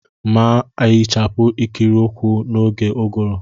M na-ehichapụ ikiri ụkwụ m n'oge ụ́gụụ̀rụ́.